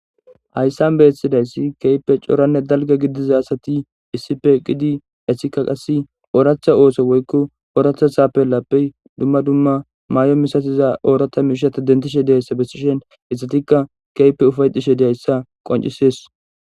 Hayssan beyessidayssi keype cooranne dalge gidiza asati issipe qidi essikka qasse ooraachtha ooso woykko ooratha saapellappey dumma dumma maay'o misatiza oorata miishata dentishe deyayssa bessishen issatikka keype ufayetishe deyayssa qoncisees.